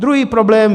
Druhý problém.